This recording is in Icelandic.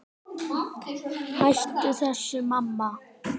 Hættu þessu, mamma!